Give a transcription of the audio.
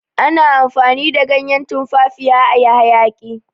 ana amfani da ganyen tumfafiya a yi hayaki